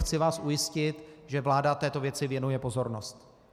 Chci vás ujistit, že vláda této věci věnuje pozornost.